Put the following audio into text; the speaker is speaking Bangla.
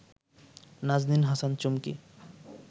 নাজনীন হাসান চুমকী